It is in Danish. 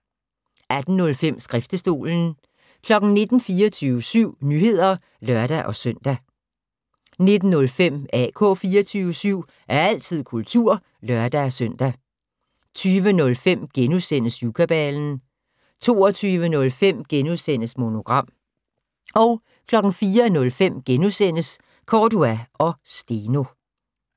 18:05: Skriftestolen 19:00: 24syv Nyheder (lør-søn) 19:05: AK 24syv - altid kultur (lør-søn) 20:05: Syvkabalen * 22:05: Monogram * 04:05: Cordua & Steno *